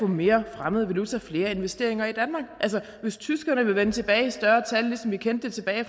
mere fremmed valuta flere investeringer i danmark altså hvis tyskerne vil vende tilbage i større tal ligesom vi kendte det tilbage i